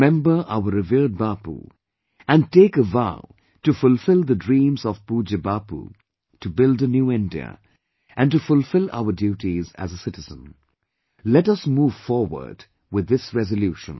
Remember our revered Bapu and take a vow to fulfill the dreams of Pujya Bapu, to build a new India, and to fulfill our duties as a citizen let us move forward with this resolution